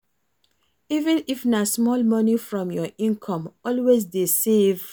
even if na small money from your income, always dey save